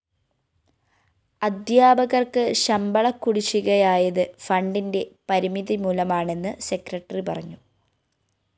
അധ്യാപകര്‍ക്ക് ശമ്പളക്കുടിശ്ശികയായത് ഫണ്ടിന്റെ പരിമിതി മൂലമാണെന്ന് സെക്രട്ടറി പറഞ്ഞു